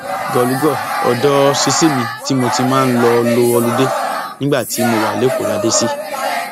gòlùgò odò ṣíṣí mi tí mo ti máa ń lọọ lọ olùde nígbà tí mo wà lẹkọọ la dé sí